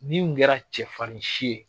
Min kun kɛra cɛfarinsi ye.